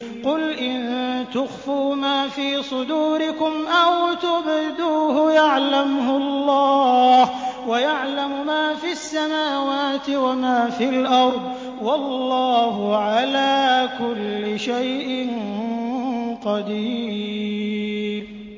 قُلْ إِن تُخْفُوا مَا فِي صُدُورِكُمْ أَوْ تُبْدُوهُ يَعْلَمْهُ اللَّهُ ۗ وَيَعْلَمُ مَا فِي السَّمَاوَاتِ وَمَا فِي الْأَرْضِ ۗ وَاللَّهُ عَلَىٰ كُلِّ شَيْءٍ قَدِيرٌ